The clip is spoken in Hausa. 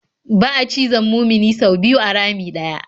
Ba'a cizon mumini sau biyu a rami ɗaya.